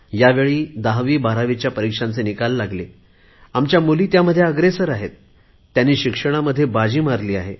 ह्यावेळी 1012वीच्या परिक्षांचे निकाल लागले आमच्या मुली त्यामध्ये अग्रेसर आहेत त्यांनी शिक्षणामध्ये बाजी मारली आहे